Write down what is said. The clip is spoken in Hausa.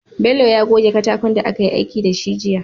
Bello ya goge katakon da akayi aiki dashi jiya